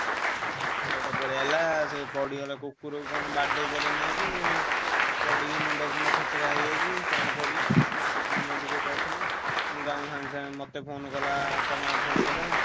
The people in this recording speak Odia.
କୁକୁର ଟେ ପଳେଇଆସିଲା ସେ ପଡ଼ିଗଲେ କୁକୁରକୁ କଣ ବାଡ଼େଇଦେଲେ ନେଇକି ଆଉ ପଡିକି ମୁଣ୍ଡ ଫୁଣ୍ଡ ଚେଚେରା ହେଇଯାଇଛି। କଣ କରିବେ ତଅ ମା ମନା ଦୁଃଖ କରୁଥିଲେ, ମୁ ତାକୁ ସାଙ୍ଗେ ସାଙ୍ଗେ ମତେ phone କଲା ତଅ ମା phone କଲେ।